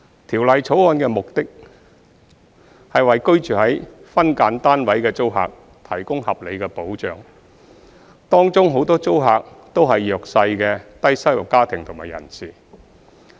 《條例草案》的目標，是為居住於分間單位的租客提供合理的保障，當中很多租客均為弱勢的低收入家庭及人士。